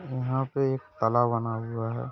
यहां पे एक तला बना हुआ है।